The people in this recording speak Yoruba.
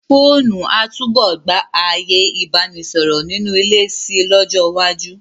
Fóònù a túbọ̀ gba ààyè Ìbánisọ̀rọ̀ nínú ilé si lọ́jọ́ iwájú.